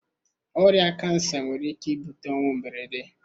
Ọrịa kansa nwere ike ibute ọnwụ mberede.